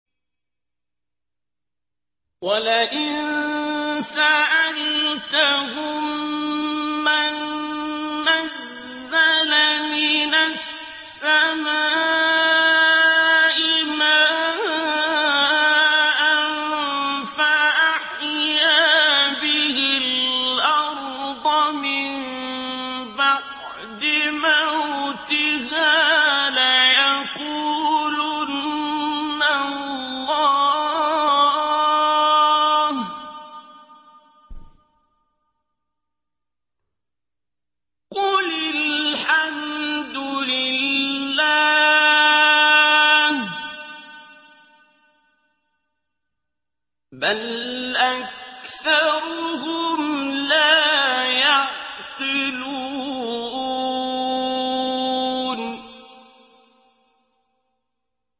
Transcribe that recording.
وَلَئِن سَأَلْتَهُم مَّن نَّزَّلَ مِنَ السَّمَاءِ مَاءً فَأَحْيَا بِهِ الْأَرْضَ مِن بَعْدِ مَوْتِهَا لَيَقُولُنَّ اللَّهُ ۚ قُلِ الْحَمْدُ لِلَّهِ ۚ بَلْ أَكْثَرُهُمْ لَا يَعْقِلُونَ